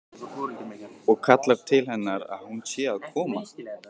Og kallar til hennar að hún sé að koma.